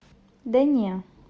да не